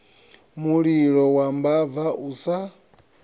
mulilo wa mbava u sa